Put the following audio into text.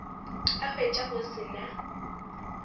a hwetša go se na